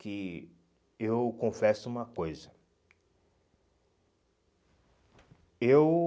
Que eu confesso uma coisa. Eu